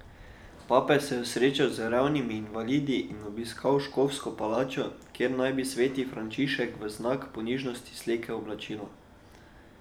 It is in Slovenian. Papež se je srečal z revnimi in invalidi in obiskal škofovsko palačo, kjer naj bi sveti Frančišek v znak ponižnosti slekel oblačila.